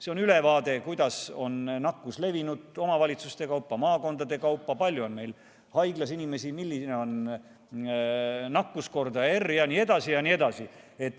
See on ülevaade, kuidas on nakkus levinud omavalitsuste kaupa, maakondade kaupa, palju on meil haiglas inimesi, milline on nakkuskordaja R jne, jne.